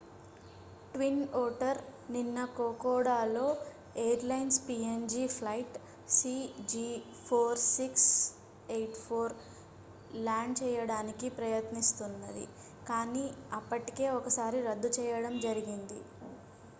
twin otter నిన్న కోకోడాలో airlines png flight cg4684 land చేయడానికి ప్రయత్నిస్తున్నది కాని అప్పటికే ఒకసారి రద్దు చేయడం జరిగింది